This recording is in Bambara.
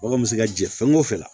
Baganw bɛ se ka jɛ fɛn o fɛn la